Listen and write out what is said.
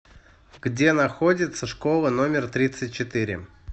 где находится школа номер тридцать четыре